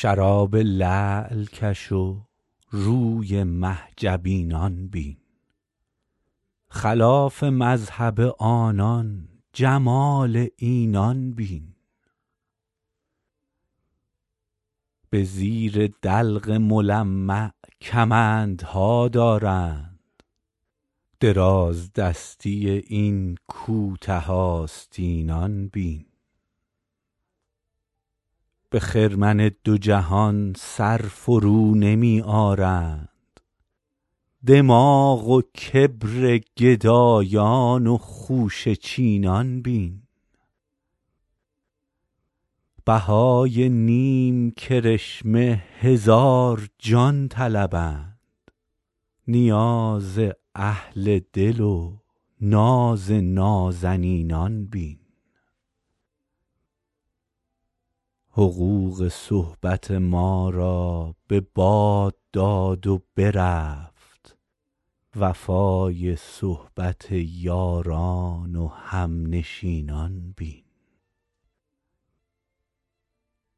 شراب لعل کش و روی مه جبینان بین خلاف مذهب آنان جمال اینان بین به زیر دلق ملمع کمندها دارند درازدستی این کوته آستینان بین به خرمن دو جهان سر فرونمی آرند دماغ و کبر گدایان و خوشه چینان بین بهای نیم کرشمه هزار جان طلبند نیاز اهل دل و ناز نازنینان بین حقوق صحبت ما را به باد داد و برفت وفای صحبت یاران و همنشینان بین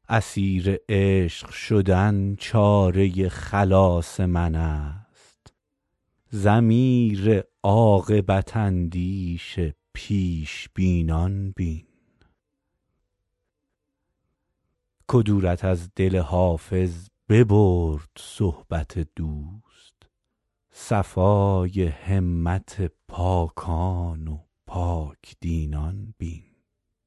اسیر عشق شدن چاره خلاص من است ضمیر عاقبت اندیش پیش بینان بین کدورت از دل حافظ ببرد صحبت دوست صفای همت پاکان و پاک دینان بین